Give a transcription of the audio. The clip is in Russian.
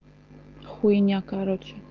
хуйня короче